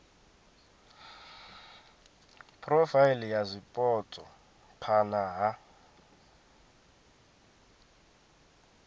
phurofaili ya zwipotso phana ha